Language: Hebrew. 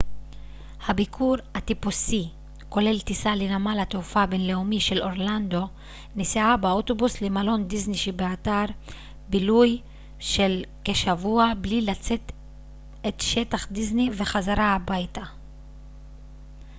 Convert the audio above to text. הביקור הטיפוסי כולל טיסה לנמל התעופה הבינלאומי של אורלנדו נסיעה באוטובוס למלון דיסני שבאתר בילוי של כשבוע בלי לצאת את שטח דיסני וחזרה הביתה